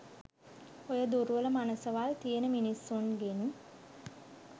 ඔය දුර්වල මනසවල් තියෙන මිස්සුන්ගෙන්